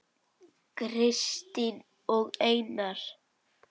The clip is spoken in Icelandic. Kristín og Einar.